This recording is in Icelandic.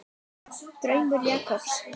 Draumur Jakobs.